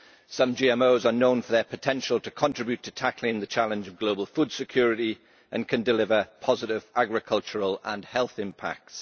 Some GMOs are known for their potential to contribute to tackling the challenge of global food security and can deliver positive agricultural and health impacts.